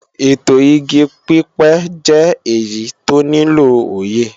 ètò igi pípẹ́ jẹ́ èyí tó nílò òye